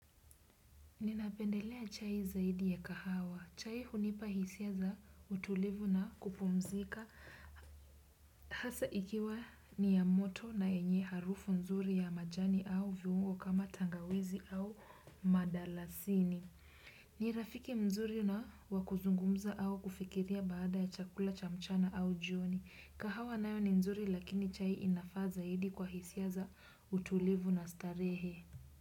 Ninapendelea chai zaidi ya kahawa. Chai hunipa hisia za utulivu na kupumzika hasa ikiwa ni ya moto na yenye harufu nzuri ya majani au viungo kama tangawizi au mdalasini. Ni rafiki mzuri na wa kuzungumza au kufikiria baada ya chakula cha mchana au jioni. Kahawa nayo ni nzuri lakini chai inafaa zaidi kwa hisia za utulivu na starehe.